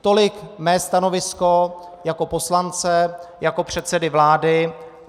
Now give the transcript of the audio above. Tolik mé stanovisko jako poslance, jako předsedy vlády.